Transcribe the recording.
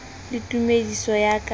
le tumediso ya ka ka